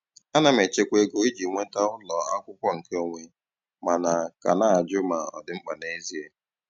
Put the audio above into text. Ana m echekwa ego iji nweta ụlọ akwụkwọ nkeonwe, mana ka na-ajụ ma ọ dị mkpa n'ezie.